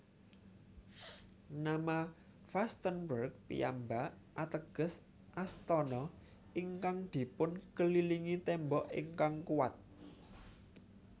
Nama Vastenburg piyambak ateges Astana ingkang dipunkelilingi tembok ingkang kuwat